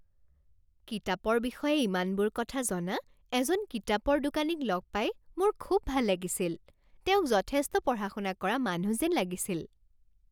কিতাপৰ বিষয়ে ইমানবোৰ কথা জনা এজন কিতাপৰ দোকানীক লগ পাই মোৰ খুব ভাল লাগিছিল। তেওঁক যথেষ্ট পঢ়া শুনা কৰা মানুহ যেন লাগিছিল।